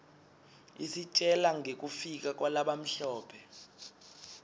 isitjela ngekufika kwalabamhlope